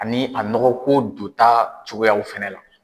Ani a nɔgɔko dota cogoyaw fɛnɛ la.